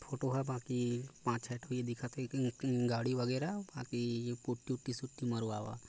Photo ह बाकी पाच छै टो ही दिखत हे गाडी वगेरा पाकी पुट्ठि उत्ती सुट्टी मरवावा।